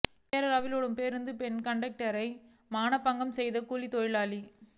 கேரளாவில் ஓடும் பேருந்தில் பெண் கண்டக்டரை மானபங்கம் செய்த கூலித் தொழிலாளி